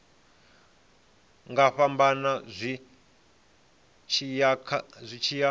nga fhambana zwi tshi ya